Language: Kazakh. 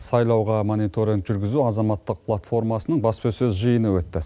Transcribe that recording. сайлауға мониторинг жүргізу азаматтық платформасының баспасөз жиыны өтті